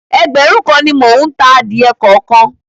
Ẹgbẹ̀rún kan ni mò ń ta adìẹ kọ̀ọ̀kan.